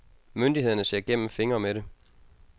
Myndighederne ser gennem fingre med det.